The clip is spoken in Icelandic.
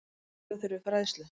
Auka þurfi fræðslu.